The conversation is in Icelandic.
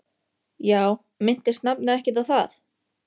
Já, minntist nafni ekkert á það?